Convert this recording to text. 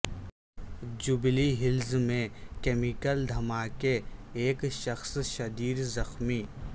jubilee Hills میں chemical دھماکہ ایک شخص شدید زخمی